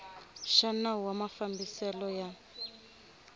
xa nawu wa mafambiselo ya